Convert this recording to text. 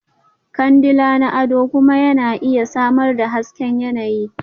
Kandila na ado kuma yana iya samar da hasken yanayi.